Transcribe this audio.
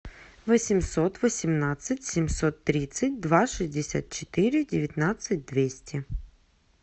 восемьсот восемнадцать семьсот тридцать два шестьдесят четыре девятнадцать двести